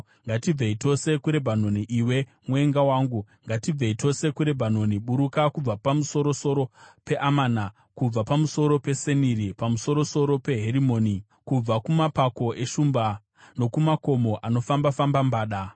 Ngatibvei tose kuRebhanoni, iwe mwenga wangu, ngatibvei tose kuRebhanoni. Buruka kubva pamusoro-soro peAmana, kubva pamusoro peSeniri, pamusoro-soro peHerimoni, kubva kumapako eshumba nokumakomo anofamba-famba mbada.